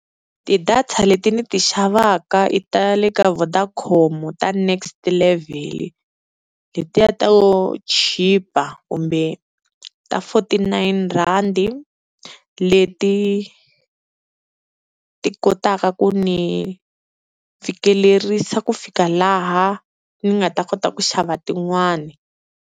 Ti-data leti ni ti xavaka i ta le ka Vodacom ta NextLevel letiya to chipa kumbe ta forty-nine rand, leti ti kotaka ku ni fikelerisa ku fika laha ni nga ta kota ku xava tin'wani.